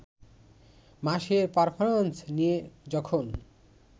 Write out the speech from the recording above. মাসের পারফরমেন্স নিয়ে যখন